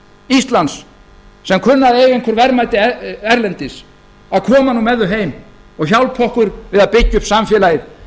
íslands sem kunna að eiga einhver verðmæti erlendis að koma nú með þau heim og hjálpa okkur við að byggja upp samfélagið